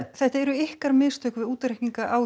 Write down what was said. þetta eru ykkar mistök við útreikninga á